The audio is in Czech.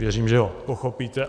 Věřím, že ho pochopíte.